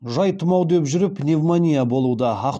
жай тұмау деп жүріп пневмония болуда